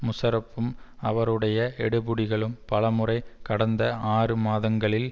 முஷாரஃப்பும் அவருடைய எடுபிடிகளும் பலமுறை கடந்த ஆறு மாதங்களில்